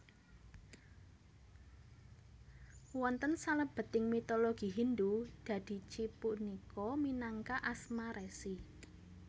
Wonten salebeting mitologi Hindu Dadici punika minangka asma resi